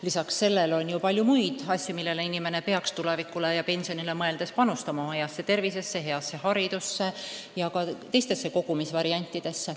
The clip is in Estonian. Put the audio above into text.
Lisaks sellele on ju palju muid asju, millesse inimene peaks tulevikule ja pensionile mõeldes panustama: oma heasse tervisesse, heasse haridusse ja ka teistesse kogumisvariantidesse.